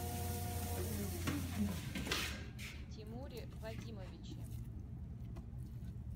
тимуре вадимовиче